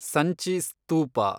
Sanchi ಸ್ತೂಪ